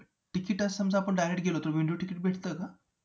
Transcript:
Ticket असं समजा आपण direct गेलो तर window ticket भेटतं का?